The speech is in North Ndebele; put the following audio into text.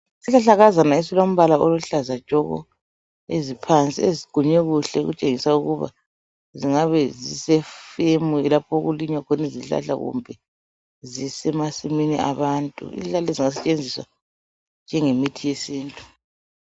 Isihlahlakazana esilombala oluhlaza tshoko , eziphansi eziqunywe kuhle ezitshengisa ukuba zingabe zise "femu"lapho okulinywa khona izihlahla kumbe zisemasimini abantu , izihlahla lezi ziyasetshenziswa njenge mithi yesintu